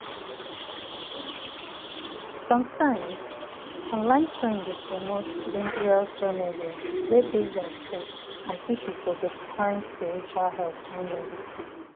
sometimes online trend dey promote dangerous remedy wey base on faith and people go dey um find spiritual um help join medicine.